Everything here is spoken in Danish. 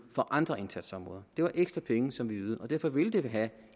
på andre indsatsområder det var ekstra penge som vi ydede og derfor vil det have